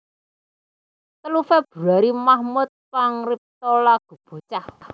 Telu Februari Mahmud pangripta lagu bocah